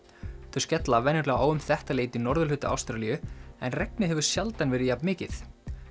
þau skella venjulega á um þetta leyti í norðurhluta Ástralíu en regnið hefur sjaldan verið jafn mikið